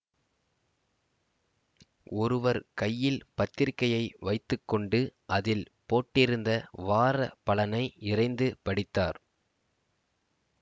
ஒருவர் கையில் பத்திரிகையை வைத்து கொண்டு அதில் போட்டிருந்த வார பலனை இரைந்து படித்தார்